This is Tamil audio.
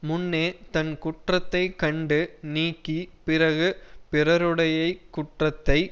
முன்னே தன் குற்றத்தை கண்டு நீக்கி பிறகு பிறருடையக் குற்றத்தை